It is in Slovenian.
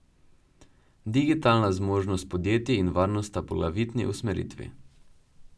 Digitalna zmožnost podjetij in varnost sta poglavitni usmeritvi.